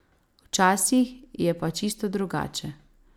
Včasih je pa čisto drugače ...